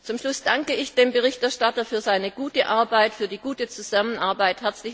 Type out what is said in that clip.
Zum Schluss danke ich dem Berichterstatter für seine gute Arbeit und für die gute Zusammenarbeit.